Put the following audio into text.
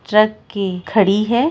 Truck की खड़ी है।